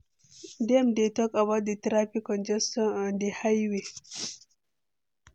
Dem dey talk about di traffic congestion on di highway